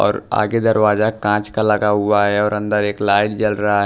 और आगे दरवाजा कांच का लगा हुआ है और अंदर एक लाइट जल रहा है।